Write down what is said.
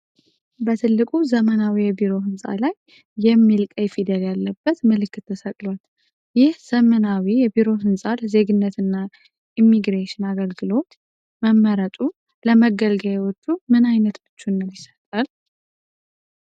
በትልቁ ዘመናዊ የቢሮ ህንጻ ላይ "ICS" የሚል ቀይ ፊደል ያለበት ምልክት ተሰቅሏል። ይህ ዘመናዊ የቢሮ ህንፃ ለዜግነት እና ኢሚግሬሽን አገልግሎት መመረጡ ለመገልገያዎቹ ምን አይነት ምቹነት ይሰጣል?